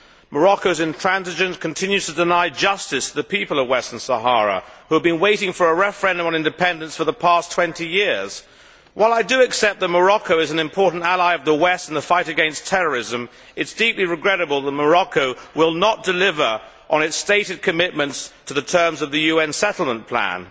Morocco's intransigence continues to deny justice to the people of Western Sahara, who have been waiting for a referendum on independence for the past 20 years. While I do accept that Morocco is an important ally of the West in the fight against terrorism, it is deeply regrettable that Morocco will not deliver on its stated commitments to the terms of the UN settlement plan.